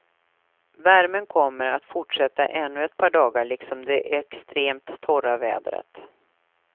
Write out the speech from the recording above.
Värmen kommer att fortsätta ännu ett par dagar liksom det extremt torra vädret.